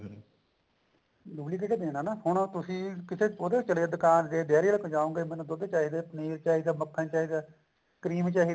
ਉਹੀ ਦੇਕੇ ਦੇਣਾ ਨਾ ਹੁਣ ਤੁਸੀਂ ਕਿਸੇ ਉਹਦੇ ਚਲੇ ਜਾਓ ਦੁਕਾਨ ਤੇ ਡੇਰੀ ਆਲੇ ਦੇ ਜਾਓਂਗੇ ਮੈਨੂੰ ਦੁੱਧ ਚਾਹੀਦਾ ਪਨੀਰ ਚਾਹੀਦਾ ਮੱਖਣ ਚਾਹੀਦਾ cream ਚਾਹੀਦੀ